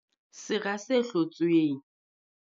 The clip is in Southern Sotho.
Sera se hlotsweng.